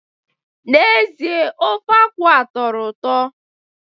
N'ezie, ofe akwu a atọrọ ụtọ